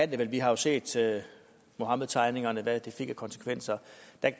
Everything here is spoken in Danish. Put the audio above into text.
det vel vi har jo set hvad muhammedtegningerne fik af konsekvenser